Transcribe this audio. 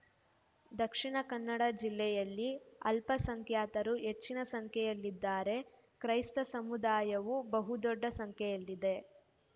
ದಕ್ಷಿಣ ಕನ್ನಡ ಜಿಲ್ಲೆಯಲ್ಲಿ ಅಲ್ಪಸಂಖ್ಯಾತರು ಹೆಚ್ಚಿನ ಸಂಖ್ಯೆಯಲ್ಲಿದ್ದಾರೆ ಕ್ರೈಸ್ತ ಸಮುದಾಯವೂ ಬಹುದೊಡ್ಡ ಸಂಖ್ಯೆಯಲ್ಲಿದೆ